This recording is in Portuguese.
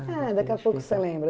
daqui a pouco você lembra.